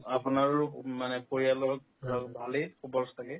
আপোনাৰো উম মানে পৰিয়ালক থাকে